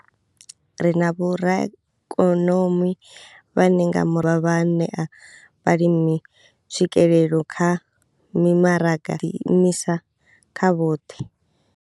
Ri na vhoraikonomi vhane nga murahu vha ḓo dovha vha ṋea vhalimi tswikelelo kha mimaraga ḓi imisa nga vhoṱhe.